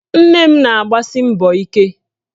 Nne m na-agbasi mbọ ike